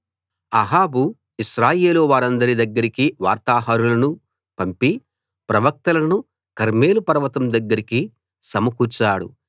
అహాబు ఇశ్రాయేలు వారందరి దగ్గరికి వార్తాహరులను పంపి ప్రవక్తలను కర్మెలు పర్వతం దగ్గరికి సమకూర్చాడు